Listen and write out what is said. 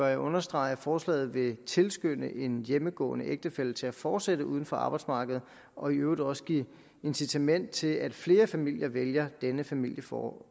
jeg understrege at forslaget vil tilskynde en hjemmegående ægtefælle til at fortsætte uden for arbejdsmarkedet og i øvrigt også give incitament til at flere familier vælger denne familieform